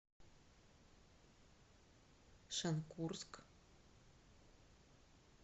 шенкурск